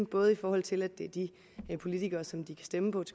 både i forhold til at det er de politikere som de kan stemme på